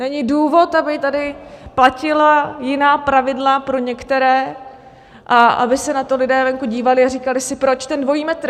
Není důvod, aby tady platila jiná pravidla pro některé a aby se na to lidé venku dívali a říkali si: Proč ten dvojí metr?